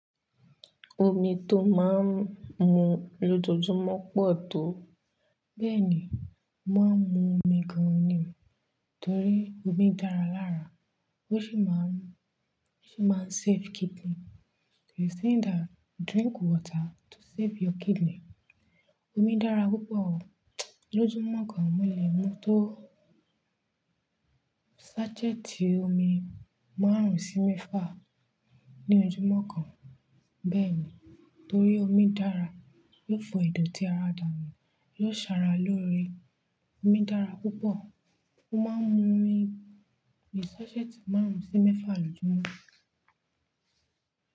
Omi tó máa ń mu lójoojúmọ́ pọ̀ tó. Bẹ́ẹ̀ ni, mo máa ń mu omi gan-an ni, torí omi dára lára, ó sì máa ń, ó sì máa ń save kidney. They are saying that drink water to save your kidney. Omi dára púpọ̀ o. Lójúmọ́ kan mo lè mu tó sachet omi márùn-ún sí mẹ́fà ní ojúmọ́ kan. Bẹ́ẹ̀ ni, torí omi dára, yiò fọ idoti tíara dànu, yóò sara lóore. Omi dára púpọ̀. Mo máa ń mu omi è sachet márùn-ún sí mẹ́fà lójúmọ́.